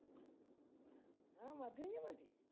ആ മതിയെങ്കി മതി.